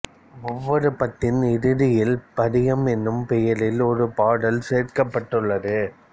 ஒவ்வொரு பத்தின் இறுதியிலும் பதிகம் என்னும் பெயரில் ஒரு பாடல் சேர்க்கப்பட்டுள்ளது